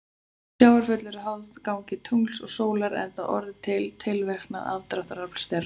Sjávarföll eru háð gangi tungls og sólar enda orðin til fyrir tilverknað aðdráttarafls þeirra.